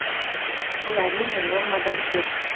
бұл әрине нормадан көп